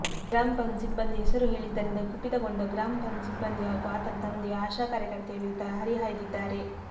ಗ್ರಾಪಂ ಸಿಬ್ಬಂದಿ ಹೆಸರು ಹೇಳಿದ್ದರಿಂದ ಕುಪಿತಗೊಂಡ ಗ್ರಾಪಂ ಸಿಬ್ಬಂದಿ ಹಾಗೂ ಆತನ ತಂದೆ ಆಶಾ ಕಾರ್ಯಕರ್ತೆಯ ವಿರುದ್ಧ ಹರಿಹಾಯ್ದಿದ್ದಾರೆ